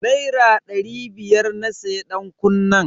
Naira dari biyar na siya dankunnen.